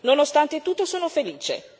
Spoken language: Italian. Nonostante tutto sono felice.